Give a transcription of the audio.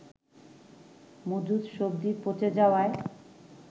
মজুদ সবজি পচে যাওয়ায়